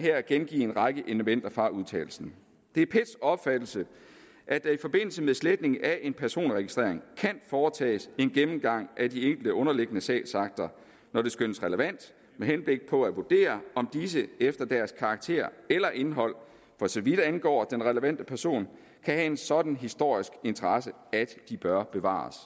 her gengive en række elementer fra udtalelsen det er pets opfattelse at der i forbindelse med sletning af en personregistrering kan foretages en gennemgang af de enkelte underliggende sagsakter når det skønnes relevant med henblik på at vurdere om disse efter deres karakter eller indhold for så vidt angår den relevante person kan have en sådan historisk interesse at de bør bevares